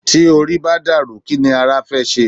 Tí orí bá dàrú, kí ni ara fẹ́ ṣe?